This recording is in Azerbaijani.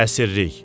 Əsirlik.